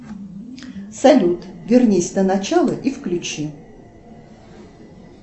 салют вернись на начало и включи